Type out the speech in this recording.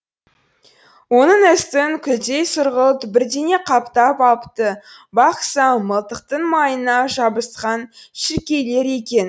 оның үстін күлдей сұрғылт бірдеңе қаптап алыпты бақ сам мылтықтың майына жабысқан шіркейлер екен